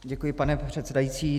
Děkuji, pane předsedající.